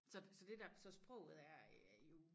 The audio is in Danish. Så så det der så sproget er øh er jo